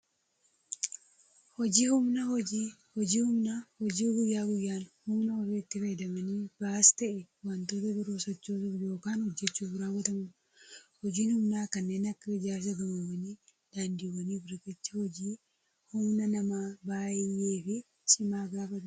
Hojiin humnaa, hojii guyyaa guyyaan humna ofiitti fayyadamanii ba'aas ta'ee waantota biroo sochoosuuf yookaan hojjechuuf raawwatamudha. Hojiin humnaa kanneen akka ijaarsa gamoowwanii, daandiiwwanii fi riqichaa, hojii humna namaa baayyee fi cimaa gaafatudha.